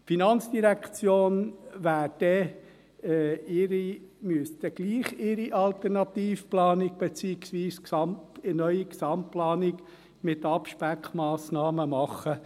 Die Finanzdirektion müsste ihre Alternativplanung, beziehungsweise eine neue Gesamtplanung mit Abspeckmassnahmen, gleichwohl machen.